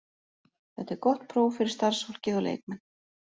Þetta er gott próf fyrir starfsfólkið og leikmenn.